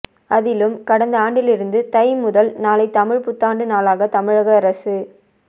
அதிலும் கடந்த ஆண்டிலிருந்து தை முதல் நாளை தமிழ்ப் புத்தாண்டு நாளாகத் தமிழக அரசு